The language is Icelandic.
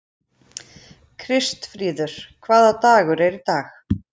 Kristfríður, hvaða dagur er í dag?